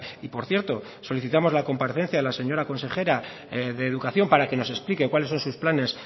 y por cierto solicitamos la comparecencia de la señora consejera de educación para que nos explique cuáles son sus planes